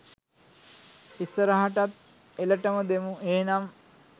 ඉස්සරහටත් එලටම දෙමු එහෙනම්.